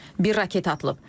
Bir raket atılıb.